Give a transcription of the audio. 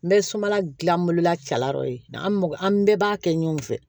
N bɛ sobala gilan bolola cɛlaw ye an bɛɛ b'a kɛ ɲɔgɔn fɛ